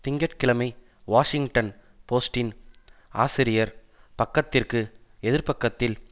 திங்க கிழமை வாஷிங்டன் போஸ்ட்டின் ஆசிரியர் பக்கத்திற்கு எதிர்ப்பக்கத்தில்